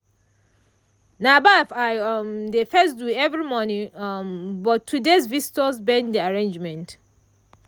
na baff i um dey first do every morning um but today's visitor bend the arrangement.